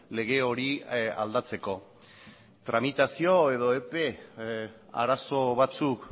lege hori aldatzeko tramitazio edo epe arazo batzuk